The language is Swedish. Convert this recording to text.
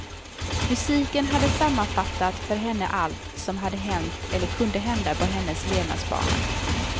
Musiken hade sammanfattat för henne allt som hade hänt eller kunde hända på hennes levnadsbana.